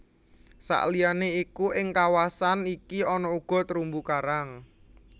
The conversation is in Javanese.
Saliyané iku ing kawasan iki ana uga terumbu karang